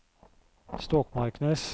Stokmarknes